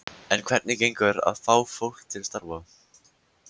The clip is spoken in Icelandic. En hvernig gengur að fá fólk til starfa?